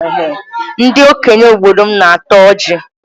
Ndị okenye obodo m na-ata ọjị.